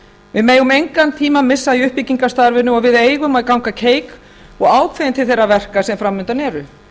við megum engan tíma missa í uppbyggingarstarfinu og við eigum að ganga keik og ákveðin til þeirra verka sem fram undan eru